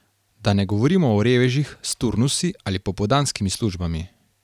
Da ne govorimo o revežih s turnusi ali popoldanskimi službami.